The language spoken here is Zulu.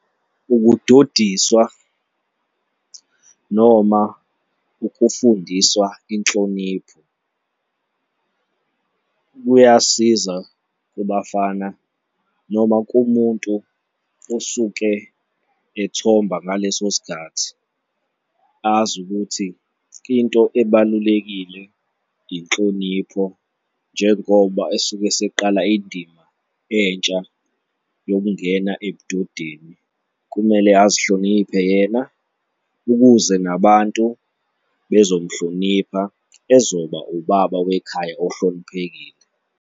Ukudodiswa noma ukufundiswa inhlonipho kuyasiza kubafana noma kumuntu osuke ethomba ngaleso sikhathi azi ukuthi into ebalulekile inhlonipho njengoba esuke eseqala indima entsha yokungena ebudodeni, kumele azihloniphe yena ukuze nabantu bezomuhlonipha ezoba ubaba wekhaya ohloniphekile.